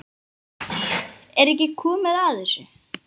Er ekki komið að þessu?